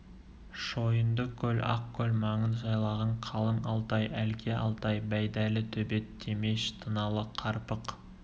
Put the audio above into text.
шойынды көл ақ көл маңын жайлаған қалың алтай әлке алтай байдәлі төбет темеш тыналы қарпық